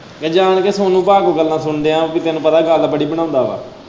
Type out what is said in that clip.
ਮੈਂ ਜਾਨ ਕੇ ਸੋਨੂੰ ਪਾ ਦੀ ਗੱਲਾਂ ਸੁਨਣ ਦਿਆ ਆਂ ਕੀ ਤੈਨੂੰ ਪਤਾ ਗੱਲ ਬੜੀ ਬਣਾਉਂਦਾ ਹੈ।